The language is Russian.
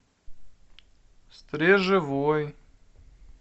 стрежевой